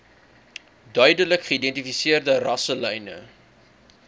duidelik geïdentifiseerde rasselyne